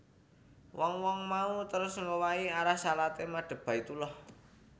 Wong wong mau terus ngowahi arah shalaté madhep Baitullah